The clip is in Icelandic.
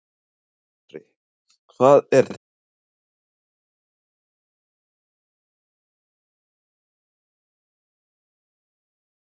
Andri, hvað er það sem ber hæst í Hafnarfirði núna í dag og um helgina?